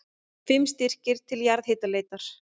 Fimm styrkir til jarðhitaleitar